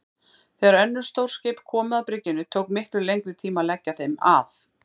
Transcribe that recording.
Þegar önnur stór skip komu að bryggjunni tók miklu lengri tíma að leggja þeim að.